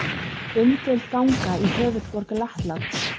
Umdeild ganga í höfuðborg Lettlands